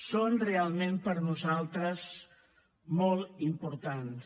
són realment per nosaltres molt importants